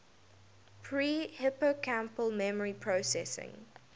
pre hippocampal memory processing